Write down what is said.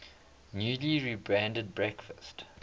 newly rebranded breakfast